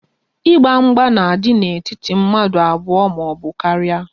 Ịgba mgba na-adị n'etiti mmadụ abụọ maọbụ karịa